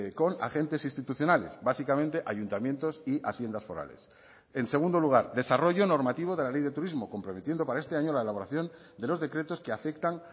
con agentes institucionales básicamente ayuntamientos y haciendas forales en segundo lugar desarrollo normativo de la ley de turismo comprometiendo para este año la elaboración de los decretos que afectan